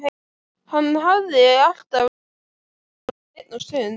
Hann hafði alltaf langað til að eignast hund.